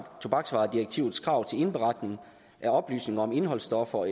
tobaksvaredirektivets krav til indberetning af oplysninger om indholdsstoffer